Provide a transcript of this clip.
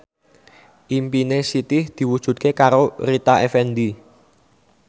impine Siti diwujudke karo Rita Effendy